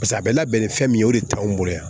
Paseke a bɛ labɛn ni fɛn min ye o de t'anw bolo yan